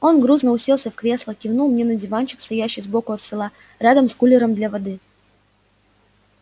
он грузно уселся в кресло кивнул мне на диванчик стоящий сбоку от стола рядом с кулером для воды